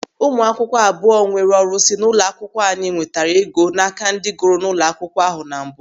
Ụmụakwụkwọ abụọ nwere ọrụsị n'ụlọ akwụkwọ anyị nwetara ego n'aka ndị gụrụ n'ụlọ akwụkwọ ahụ na mbụ.